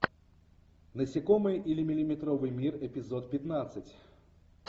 насекомые или миллиметровый мир эпизод пятнадцать